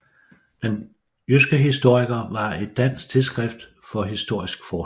Den jyske historiker var et dansk tidsskrift for historisk forskning